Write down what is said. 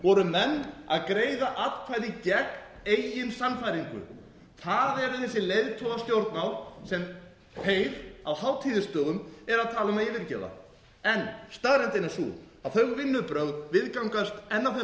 bænum voru menn að greiða atkvæði gegn eigin sannfæringu það eru þessi leiðtogastjórnmál sem þeir á hátíðisdögum eru að tala um að yfirgefa en staðreyndin er sú að þau vinnubrögð viðgangast enn á þeim bænum